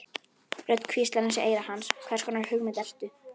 Rödd hvíslar í eyra hans: Hvers konar hugmynd ertu?